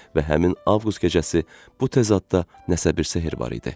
Və həmin avqust gecəsi bu təzadda nəsə bir sehr var idi.